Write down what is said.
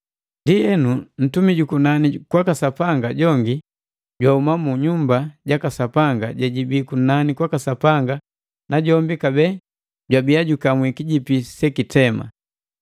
Ndienu ntumi jukunani kwaka Sapanga jongi jwauma mu nyumba jaka Sapanga jejibii kunani kwaka Sapanga najombi kabee jwabia jukamwi kijipi sekitema.